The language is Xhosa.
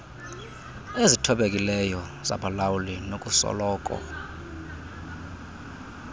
ezithobekileyo zabalawuli nokusoloko